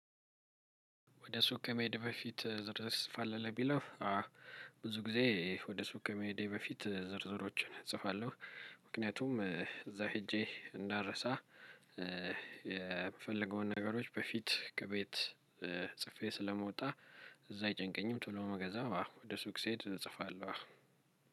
ወደ ሱቅ ከመሄድ በፊት ዝርዝር ትጽፋለህ? ለሚለው ብዙ ጊዜ ወደ ሱቅ ከመሄዴ በፊት ዝርዝሮችን እጽፋለሁ። ምክንያቱም እዛ ሄጄ እንዳረሳ የምፈልገውን ነገሮች በፊት ከቤት ጽፌ ስለመውጣ ብዙ አይጨንቀኝም ቶሎ ነው ምገዛው አዎ ወደ ሱቅ ስሄድ እጽፋለሁ።